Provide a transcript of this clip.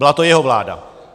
Byla to jeho vláda.